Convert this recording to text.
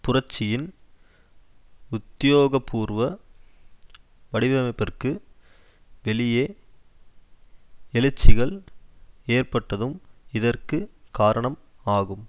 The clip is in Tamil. புரட்சியின் உத்தியோகபூர்வ வடிவமைப்பிற்கு வெளியே எழுச்சிகள் ஏற்பட்டதும் இதற்கு காரணம் ஆகும்